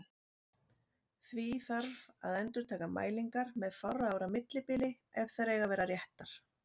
Því þarf að endurtaka mælingar með fárra ára millibili ef þær eiga að vera réttar.